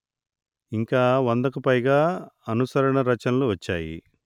ఇంకా వందకు పైగా అనుసరణ రచనలు వచ్చాయి